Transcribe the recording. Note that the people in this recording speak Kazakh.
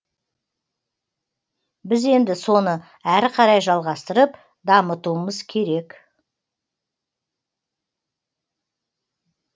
біз енді соны әрі қарай жалғастырып дамытуымыз керек